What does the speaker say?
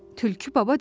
Tülkü baba dedi.